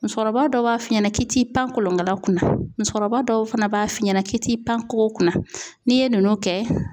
Musokɔrɔba dɔw b'a f'i ɲɛna k'i ti pan kolonkala kunna musokɔrɔba dɔw fana b'a f'i ɲɛna k'i ti pan kogo kunna n'i ye nunnu kɛ